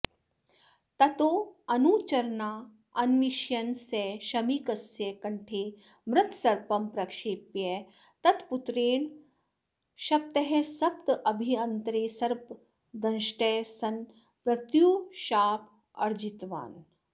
ततोऽनुचरानन्विष्यन् स शमीकस्य कण्ठे मृतसर्पं प्रक्षेप्य तत्पुत्रेण शप्तः सप्ताहाभ्यन्तरे सर्पदंष्टः सन् मृत्युशापमर्जितवान्